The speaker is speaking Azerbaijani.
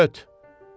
Öt!